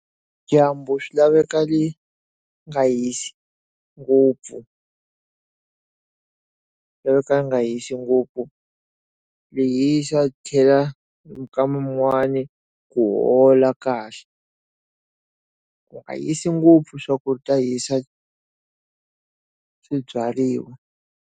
Dyambu swi laveka le nga hisi ngopfu laveka ri nga hisi ngopfu leyi swa hlwela minma yin'wana ku hola kahle ku nga hisi ngopfu swa ku ta hisa swibyariwa.